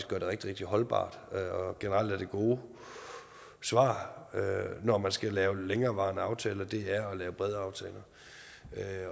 gør det rigtig rigtig holdbart og generelt er det gode svar når man skal lave længerevarende aftaler at lave brede aftaler